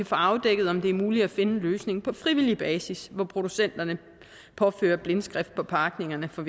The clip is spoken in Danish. få afdækket om det er muligt at finde en løsning på frivillig basis hvor producenterne påfører blindskrift på pakningerne for